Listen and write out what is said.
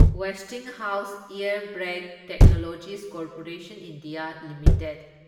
Westinghouse Air Brake Technologies Corporation India limited